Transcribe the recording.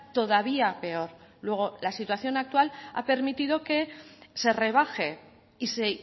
todavía peor luego la situación actual ha permitido que se rebaje y se